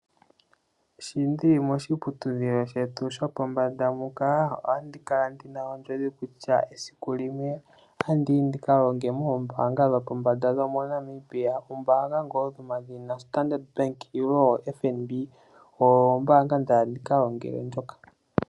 Shi ndi li moshiputudhilo shetu shopombanda muka otandi kala ndi na ondjodhi kutya esiku limwe otandi ka longa mombaanga dhoopombanda dhaNamibia. Ombaanga ngaashi Standard Bank nenge FNB, oyo ombaanga nda hala ndi ka longele ndjoka.